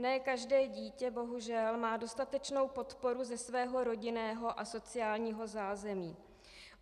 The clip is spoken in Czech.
Ne každé dítě bohužel má dostatečnou podporu ze svého rodinného a sociálního zázemí.